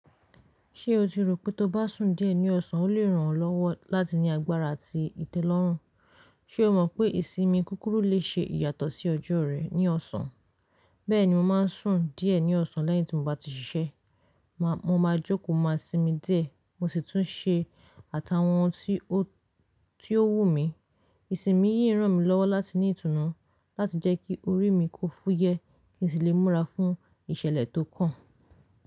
Ṣé o ti rò pé tó bá sùn díẹ̀ ní ọ̀sán, ó lè ràn ọ́ lọ́wọ́ láti ní agbára àti ìtẹ́lọ́rùn? Ṣé o mọ̀ pé ìsinmi kúkúrú lè ṣe ìyàtọ̀ sí ọjọ́ rẹ̀ ní ọ̀sán. Bẹ́ẹ̀ni, mo máa ń sùn díẹ̀ ní ọ̀sán lẹ́yìn tí mo bá ti ṣiṣẹ́. Mo máa jókòó máa sinmi díẹ̀ mo sì tún ṣe àtàwọn ohun tí ó wùn mí. Ìsinmi yìí ràn mí lọ́wọ́ láti ní ìtùnú láti jẹ́ kí orí mi kó fúyẹ́ kí sì lè múra fún ìṣẹ̀lẹ̀ tó kàn.